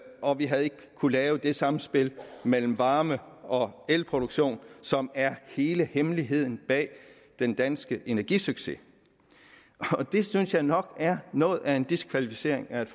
og vi havde ikke kunnet lave det samspil mellem varme og elproduktion som er hele hemmeligheden bag den danske energisucces det synes jeg nok er noget af en diskvalificering af et